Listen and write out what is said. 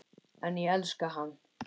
En ég elska hana.